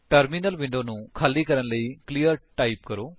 terminal window ਨੂੰ ਖਾਲੀ ਕਰਨ ਲਈ ਕਲੀਅਰ ਟਾਈਪ ਕਰੋ